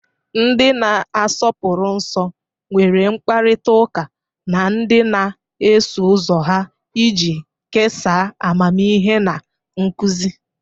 Ndị na-asọpụrụ nsọ nwere mkparịta ụka na ndị na-eso ụzọ ha iji kesaa amamihe na nkuzi